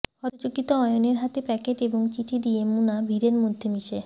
হতচকিত অয়নের হাতে প্যাকেট এবং চিঠি দিয়ে মুনা ভিড়ের মধ্যে মিশে